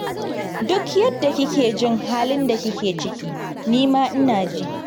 Duk yadda kike jin halin da kike ciki, ni ma ina ji